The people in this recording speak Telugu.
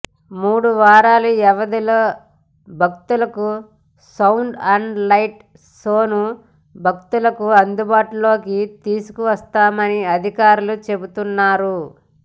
మూడు వారాల వ్యవధిలో భక్తులకు సౌండ్ అండ్ లైట్ షోను భక్తులకు అందుబాటులోకి తీసుకువస్తామని అధికారులు చెబుతున్నారు